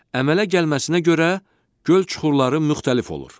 Əmələ gəlməsinə görə göl çuxurları müxtəlif olur.